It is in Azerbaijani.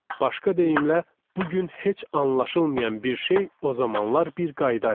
Başqa deyimlə, bu gün heç anlaşılmayan bir şey o zamanlar bir qayda idi.